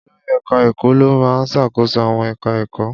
Olori eka-eko lo maa ń ṣàkóso àwọn ẹ̀ka èkó.